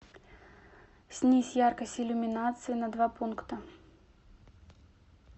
снизь яркость иллюминации на два пункта